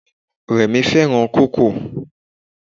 Rẹ̀mí fẹ́ràn kókò.